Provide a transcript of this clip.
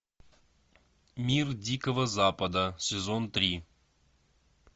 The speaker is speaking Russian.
мир дикого запада сезон три